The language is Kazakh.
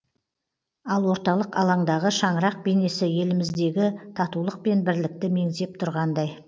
ал орталық алаңдағы шаңырақ бейнесі еліміздегі татулық пен бірлікті меңзеп тұрғандай